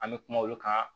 An bɛ kuma olu kan